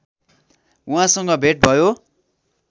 उहाँसँग भेट भयो